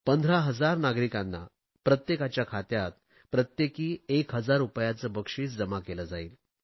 15000 नागरिकांना प्रत्येकाच्या खात्यात प्रत्येकी 1000 रुपयांचे बक्षिस जमा केले जाईल